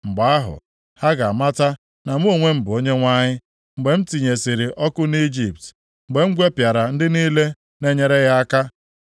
Mgbe ahụ, ha ga-amata na mụ onwe m bụ Onyenwe anyị, mgbe m tinyesịrị ọkụ nʼIjipt, mgbe m gwepịara ndị niile na-enyere ya aka.